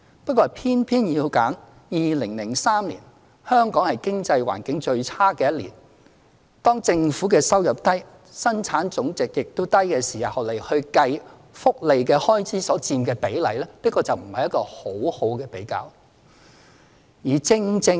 不過，他偏偏要選2003年，是香港經濟環境最差的一年，當政府收入低、本地生產總值亦低的時候，計算福利開支所佔的比例，這不是一個很好的比較。